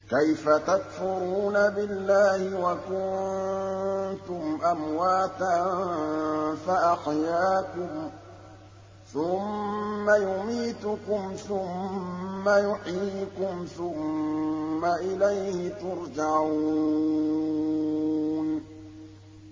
كَيْفَ تَكْفُرُونَ بِاللَّهِ وَكُنتُمْ أَمْوَاتًا فَأَحْيَاكُمْ ۖ ثُمَّ يُمِيتُكُمْ ثُمَّ يُحْيِيكُمْ ثُمَّ إِلَيْهِ تُرْجَعُونَ